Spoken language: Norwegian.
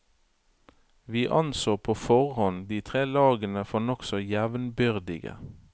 Vi anså på forhånd de tre lagene for nokså jevnbyrdige.